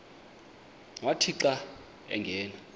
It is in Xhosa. wathi xa angena